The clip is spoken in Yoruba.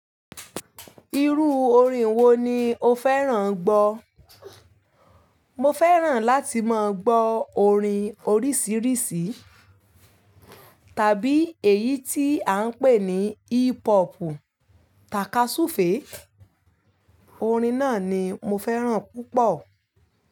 Irú orin wo ni o fẹ́ràn gbọ́? Mo fẹ́ràn láti máa gbọ́ orin oríṣiríṣi. Tàbí èyí tí à ń pè ní hip hopu tàka súfèé, orin náà ni mo fẹ́ràn púpọ̀.